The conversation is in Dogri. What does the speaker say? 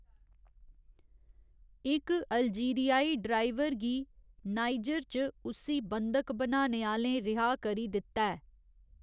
इक अल्जीरियाई ड्राइवर गी नाइजर च उस्सी बंधक बनाने आह्‌लें रिहा करी दित्ता ऐ।